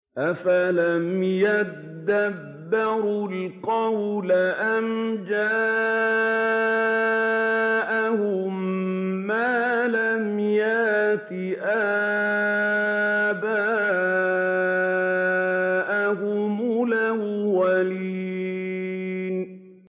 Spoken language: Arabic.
أَفَلَمْ يَدَّبَّرُوا الْقَوْلَ أَمْ جَاءَهُم مَّا لَمْ يَأْتِ آبَاءَهُمُ الْأَوَّلِينَ